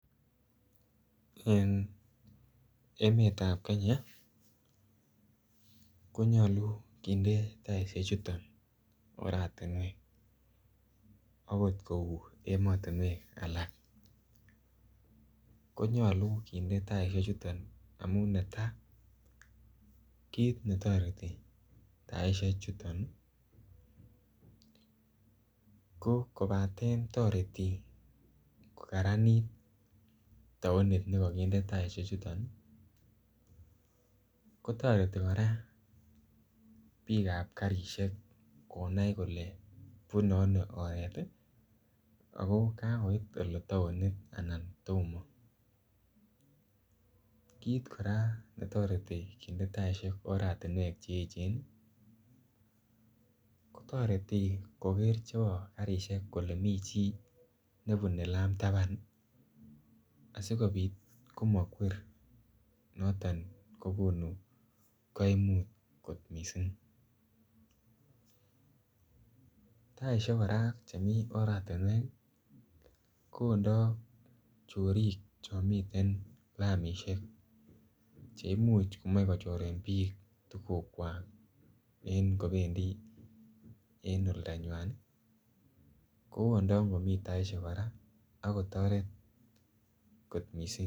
En emetab kenya konyolu kinde taishechuto oratinwek akot kou emotinwek alak konyolu kinde taishechuto amun netai kiit netoreti taishe chuton ko kobaten toretin kokaranit taonit nekakinde taishe chuton kotoreti kora biikab karishek konai kole bunei ano oret ako kakoit ole taonit anan tomo kiit kora netoretin nginde taishek oratinwek cheechen ko toreti koker chebo karishek kole mi chi nebunei lam taban asikobit komakwer noton kokonu kaimut kot mising' taishek kora chemi oratinwek koondoi chorik cho miten lamishek cheimuch komoei kochore biik tukuk kwak en kobendi en oldonyui koondoi ngomi taishek kora ako toretoshek kot mising'